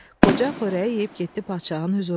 Qoca xörəyi yeyib getdi padşahın hüzuruna.